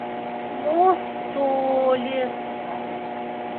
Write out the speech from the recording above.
мостолес